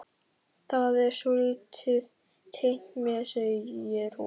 Það er svolítið tengt mér, segir hún.